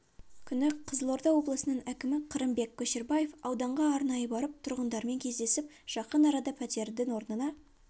күні қызылорда облысының әкімі қырымбек көшербаев ауданға арнайы барып тұрғындармен кездесіп жақын арада пәтердің орнына